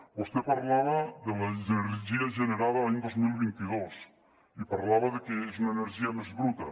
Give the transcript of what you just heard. vostè parlava de l’energia generada l’any dos mil vint dos i parlava de que és una energia més bruta